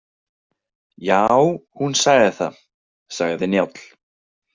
Já, hún sagði það, sagði Njáll.